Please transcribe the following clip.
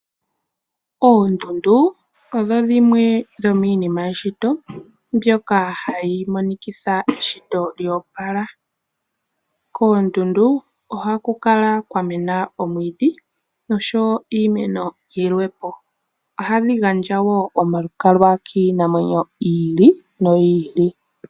Oondundu odho dhimwe dhomiinima eshito mbyoka hayi monikitha eshito lyo opala. Koondundu ohaku kala kwa mena oomwiidhi noshowo iimeno yilwe po. Ohadhi gandja wo omalukalwa kiinamwenyo yi ili noyi ili.